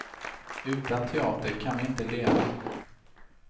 Utan teater kan vi inte leva.